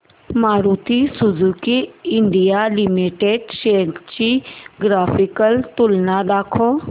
Maruti Suzuki India limited shares ची graphical तुलना दाखव